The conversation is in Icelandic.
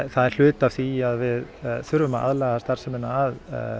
er hluti af því að við þurfum að aðlaga starfsemina að